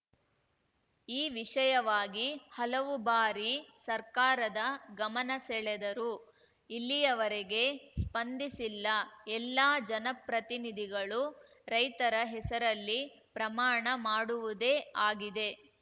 ಈ ವಿಷಯವಾಗಿ ಹಲವು ಬಾರಿ ಸರ್ಕಾರದ ಗಮನಸೆಳೆದರೂ ಇಲ್ಲಿಯವರೆಗೆ ಸ್ಪಂದಿಸಿಲ್ಲ ಎಲ್ಲ ಜನಪ್ರತಿನಿಧಿಗಳು ರೈತರ ಹೆಸರಲ್ಲಿ ಪ್ರಮಾಣ ಮಾಡುವುದೇ ಆಗಿದೆ